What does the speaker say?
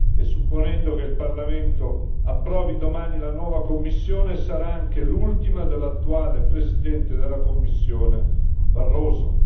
E supponendo che il Parlamento approvi domani la nuova Commissione, sarà anche l'ultima dell'attuale Presidente della Commissione Barroso.